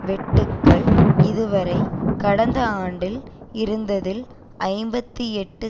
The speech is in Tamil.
வெட்டுக்கள் இதுவரை கடந்த ஆண்டில் இருந்ததில் ஐம்பத்தி எட்டு